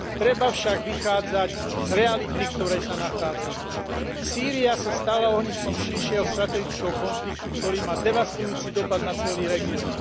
Treba však vychádzať z reality, v ktorej sa nachádzame. Sýria sa stala ohniskom širšieho strategického konfliktu, ktorý má devastujúci dopad na celý región.